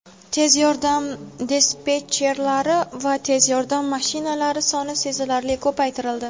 Tez yordam dispetcherlari va tez yordam mashinalari soni sezilarli ko‘paytirildi.